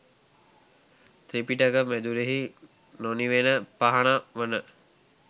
ත්‍රිපිටක මැදුරෙහි නොනිවෙන පහන වන